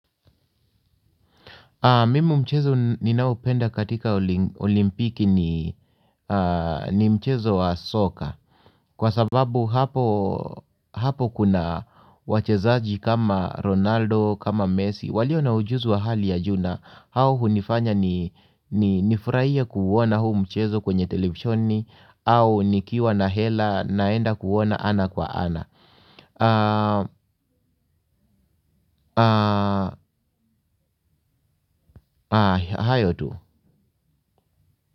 Mimi mchezo ninaopenda katika olimpiki ni mchezo wa soka kwa sababu hapo kuna wachezaji kama Ronaldo kama Messi walio na ujuzi wa hali ya ju na hao hunifanya ni nifurahia kuuona huu mchezo kwenye televisheni au nikiwa na hela naenda kuuona ana kwa ana. Hayo tu.